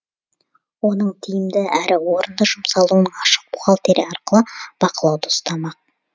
оның тиімді әрі орынды жұмсалуын ашық бухгалтерия арқылы бақылауда ұстамақ